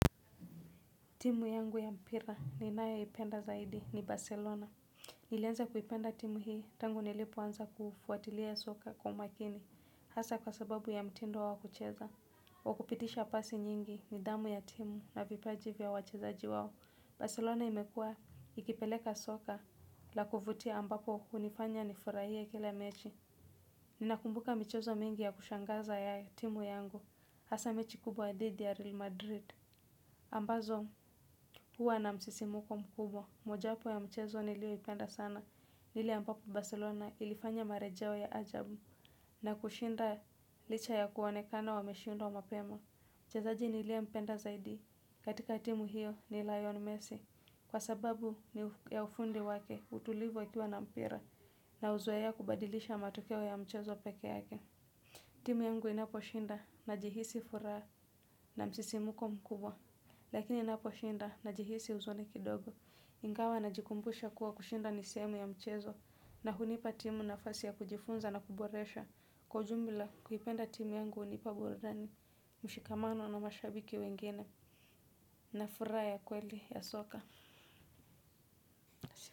Timu yangu ya mpira ninayoipenda zaidi ni Barcelona. Nilianza kuipenda timu hii tangu nilipoanza kufuatilia soka kwa makini hasa kwa sababu ya mtindo wa kucheza. Wa kupitisha pasi nyingi nidhamu ya timu na vipaji vya wachezaji wao. Barcelona imekua ikipeleka soka la kuvutia ambapo hunifanya nifurahia kila mechi. Ninakumbuka michezo mingi ya kushangaza ya timu yangu hasa mechi kubwa dhidi ya Real Madrid. Ambazo huwa na msisimko mkubwa. Mojawapo ya mchezo nilioipenda sana ni ile ambapo Barcelona ilifanya marejeo ya ajabu na kushinda licha ya kuonekana wameshindwa mapema mchezaji niliompenda zaidi katika timu hiyo ni Lionel Messi Kwa sababu ni ya ufundi wake utulivo akiwa na mpira na uzoea kubadilisha matokeo ya mchezo peke yake. Timu yangu inaposhinda najihisi furaha na msisimko mkubwa lakini naposhinda najihisi uzone kidogo ingawa najikumbusha kuwa kushinda ni sehemu ya mchezo na hunipa timu nafasi ya kujifunza na kuboresha kwa ujumla kuipenda timu yangu unipa burudani. Mshikamano na mashabiki wengine na fura ya kweli ya soka.